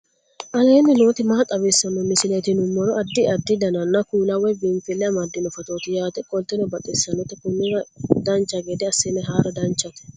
aleenni nooti maa xawisanno misileeti yinummoro addi addi dananna kuula woy biinsille amaddino footooti yaate qoltenno baxissannote konnira dancha gede assine haara danchate